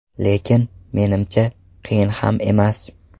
Lekin, menimcha, qiyin ham emas.